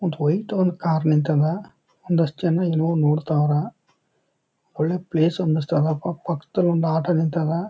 ಒಂದ್ ವೈಟ್ ಒಂದ್ ಕಾರ್ ನಿಂತದ ಒಂದ್ ಅಷ್ಟ್ ಜನ ಏನೋ ಒಂದ್ ನೋಡ್ತಾರಾ ಒಳ್ಳೆ ಪ್ಲೇಸ್ ಅನಿಸ್ತದ. ಪಕ್ ಪಕ್ದಲ್ ಒಂದ್ ಆಟೋ ನಿಂತದ.